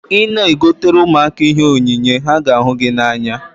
Ị na-egotere ụmụaka ihe onyinye, ha ga ahu gị n'anya